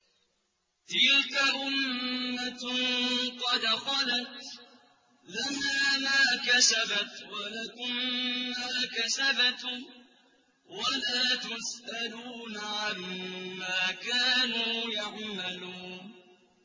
تِلْكَ أُمَّةٌ قَدْ خَلَتْ ۖ لَهَا مَا كَسَبَتْ وَلَكُم مَّا كَسَبْتُمْ ۖ وَلَا تُسْأَلُونَ عَمَّا كَانُوا يَعْمَلُونَ